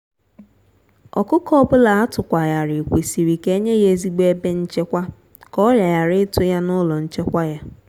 ọkụkọ ọbula atukwa ghari kwesịrị ka enye ya ezigbo ebe nchekwa ka ọrià ghara ịtụ ya n'ụlọ nchekwa ya.